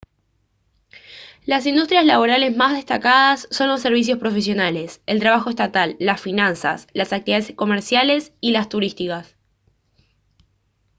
las industrias laborales más destacadas son los servicios profesionales el trabajo estatal las finanzas las actividades comerciales y las turísticas